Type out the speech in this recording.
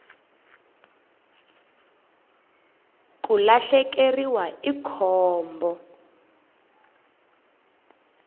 ku lahlekeriwa i khombo